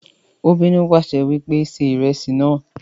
Ó bínú pàṣẹ wípé "ṣe ìrẹsì náà"